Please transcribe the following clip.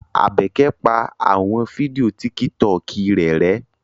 Abeke pa awọn fidio Tìkítọkì rẹ rẹ̀